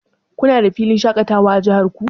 Kuna da filin shaƙatawa a jihar ku?